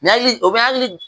N hakili o bɛ hakili